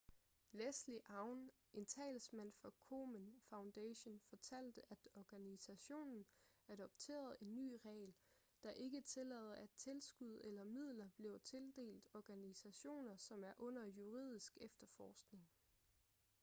leslie aun en talsmand for komen foundation fortalte at organisationen adopterede en ny regel der ikke tillader at tilskud eller midler bliver tildelt organisationer som er under juridisk efterforskning